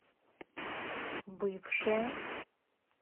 бывшая